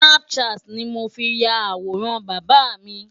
snapchat ni mo fi ya àwòrán bàbà mi.